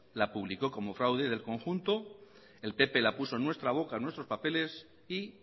la publicó como fraude del conjunto el pp la puso en nuestra boca en nuestros papeles y